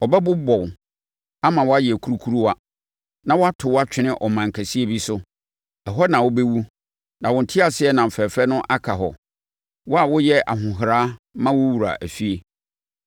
Ɔbɛbobɔ wo, ama woayɛ kurukuruwa, na wato wo atwene ɔman kɛseɛ bi so. Ɛhɔ na wobɛwu na wo teaseɛnam fɛfɛ no aka hɔ, wo a woyɛ ahohora ma wo wura efie!